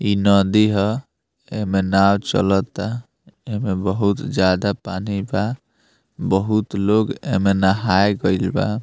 इ नदी हा | एमे नाव चलता | एमे बहुत ज़्यदा पानी बा | बहुत लोग एमे नहाए गईल बा |